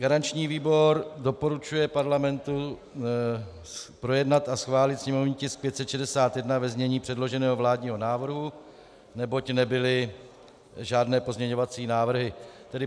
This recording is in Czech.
Garanční výbor doporučuje parlamentu projednat a schválit sněmovní tisk 561 ve znění předloženého vládního návrhu, neboť nebyly žádné pozměňovací návrhy.